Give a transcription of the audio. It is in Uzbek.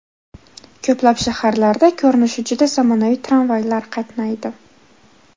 Ko‘plab shaharlarda ko‘rinishi juda zamonaviy tramvaylar qatnaydi.